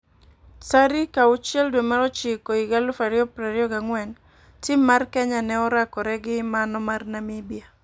Tarik 0609/2024,Tim mar Kenya ne orakore gi mano mar Namibia.